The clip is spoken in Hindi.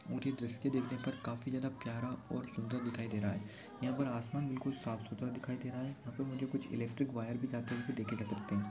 उनकी दृष्टि देखने पर काफी ज्यादा प्यारा और सुन्दर दिखाई दे रहा है यहाँ पर आसमान बिल्कुल साफ सुथरा दिखाई दे रहा है यहाँ पर मुझे कुछ इलेक्ट्रिक वायर भी जाते हुए देखे जा सकते हैं।